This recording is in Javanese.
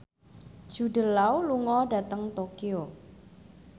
Jude Law lunga dhateng Tokyo